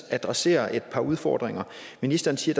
adresserer et par udfordringer ministeren siger